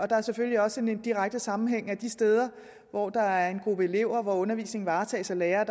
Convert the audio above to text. der er selvfølgelig også en direkte sammenhæng sådan at de steder hvor der er en gruppe elever og undervisningen varetages af lærere